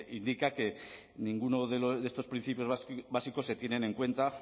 indica que ninguno de estos principios básicos se tiene en cuenta